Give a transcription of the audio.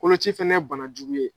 Koloci fana ye banajugu ye.